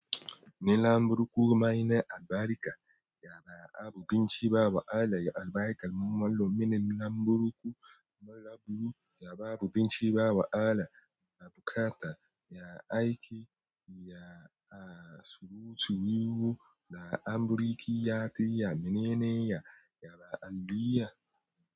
Ni lamburuku maina albarka ya ba abunci ba wa Allah ya albarka ni namoni ne lamburuku marabu ya ba abinci ba wa Allah ya bukata ya aiki ya a surutu yiwu da amburki yafi ya minene ya yaba Allah ya.